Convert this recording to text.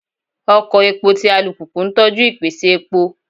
Oko epo ti alupupu n tọju ipese epo